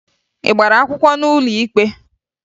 Ị gbara akwụkwọ n'ụlọ ikpe?